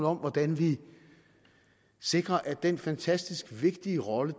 om hvordan vi sikrer at den fantastisk vigtige rolle